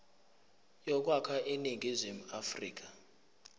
yokwakha iningizimu afrika